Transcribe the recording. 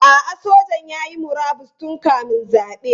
A'a, sojan ya yi murabus tun kamin zabe.